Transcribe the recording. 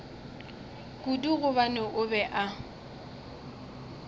kudu gobane o be a